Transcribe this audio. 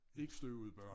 Ikke støvede børn